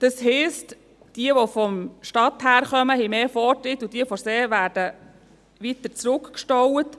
Das heisst: Jene, die von der Stadt her kommen, haben mehr Vortritt, und jene, die vom See her kommen, werden weiter zurückgestaut.